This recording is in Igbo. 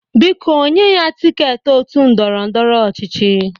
Biko nye ya tịketị otu ndọrọ ndọrọ ọchịchị!